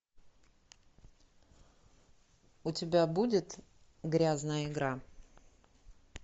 у тебя будет грязная игра